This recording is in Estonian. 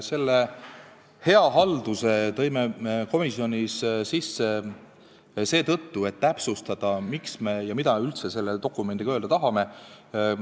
Selle hea halduse mõiste tõi komisjon sisse seetõttu, et täpsustada, mida me üldse selle dokumendiga öelda tahame.